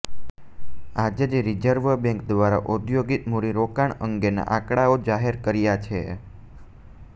આજે જ reserve bank દ્વારા ઔદ્યોગિક મુડી રોકાણ અંગેના આંકડાઓ જાહેર કર્યા છે